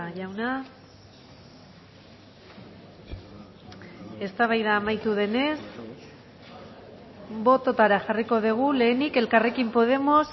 jauna eztabaida amaitu denez bototara jarriko dugu lehenik elkarrekin podemos